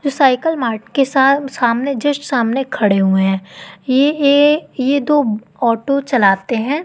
जो cycle mart के सा सामने जस्ट सामने खड़े हुवे हैं ये ये ये दो ऑटो चलाते हैं।